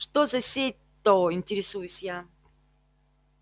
что за сеть-то интересуюсь я